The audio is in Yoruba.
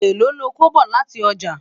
èlò lọkọ bọ láti ọjà?